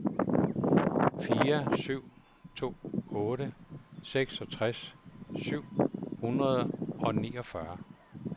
fire syv to otte seksogtres syv hundrede og niogfyrre